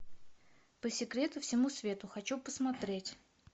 по секрету всему свету хочу посмотреть